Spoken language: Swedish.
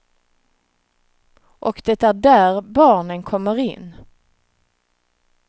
Och det är där barnen kommer in.